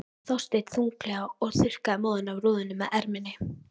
Þorsteinn þunglega og þurrkaði móðuna af rúðunni með erminni.